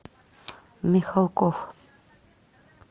михалков